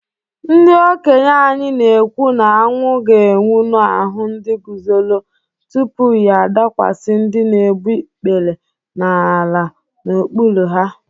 Ndị okenye anyị na-ekwu na anwụ ga-enwu n’ahụ ndị guzoro, tupu ya adakwasị ndị na-egbu ikpere n’ala n’okpuru ha.